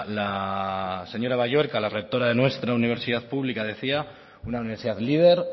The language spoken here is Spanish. la señora balluerka la rectora de nuestra universidad pública decía una universidad líder